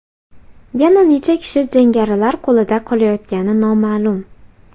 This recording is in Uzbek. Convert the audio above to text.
Yana necha kishi jangarilar qo‘lida qolayotgani noma’lum.